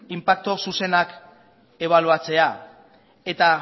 inpaktu zuzenak ebaluatzea eta